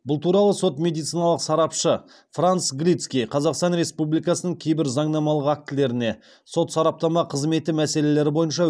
бұл туралы сот медициналық сарапшы франц галицкий қазақстан республикасының кейбір заңнамалық актілеріне сот сараптама қызметі мәселелері бойынша